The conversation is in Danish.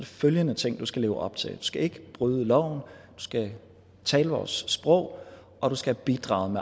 følgende ting du skal leve op til du skal ikke bryde loven du skal tale vores sprog og du skal bidrage